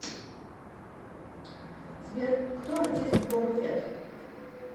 сбер кто артист боба фетт